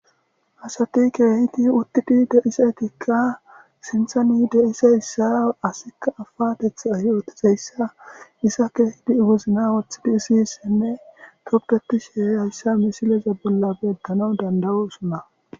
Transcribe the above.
Asati keehidi uttidi deisaetikka sinthani deisa issa asikka afatetha ayotizayssa isa keehidi iwozna wothidi isissenne toppeti sheeyayssa misileza bolla beeddano dandawu usuna.